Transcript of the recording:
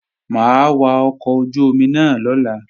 Mà á wa ọkọ̀ ojú-omi náà lọ́la